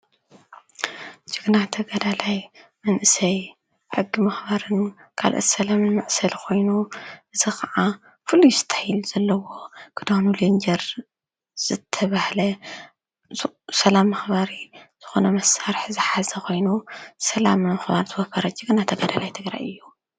ጅግና ተጋዳላይ መንእሰይ ሕጊ ምኽበሪን ካልኡት ሰላም መዕሰሊ ኾይኑ እዚ ኻዓ ፍሉይ እስታይል ዘሎዎ ክዳኑ ለጀር ዝተባሃለ ሰላም መክበሪ ዝኾነ መሰርሕ ዝሓዘ ኾይኑ ስለም ንምኽባር ዝወፈረ ጅግና ተጋዳላይ ትግራይ እዩ።